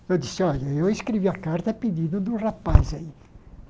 Eu disse, olha, eu escrevi a carta pedindo do rapaz aí.